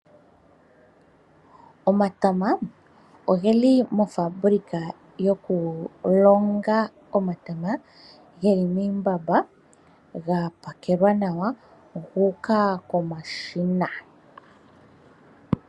Omatama ogeli mofaabulika yokulonga omatama geli miimbamba ga pakelwa nawa guuka momashina.